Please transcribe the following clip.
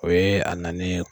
O ye a nanen ye